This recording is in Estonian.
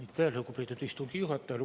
Aitäh, lugupeetud istungi juhataja!